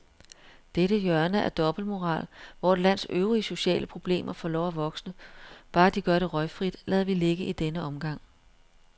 Dette hjørne af dobbeltmoral, hvor et lands øvrige sociale problemer får lov at vokse, bare de gør det røgfrit, lader vi ligge i denne omgang.